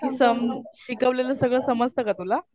बाकी सम शिकवलेलं सगळं समजतं का तुला?